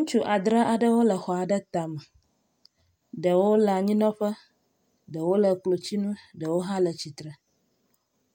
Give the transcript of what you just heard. Ŋutsu adre aɖewo le xɔ aɖe tame. Ɖewo le anyinɔƒe ɖewo le klotsinu ɖewo hã le tsitre.